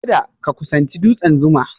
Kada ka kusanci dutsen 'Zuma'!